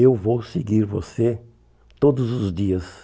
Eu vou seguir você todos os dias.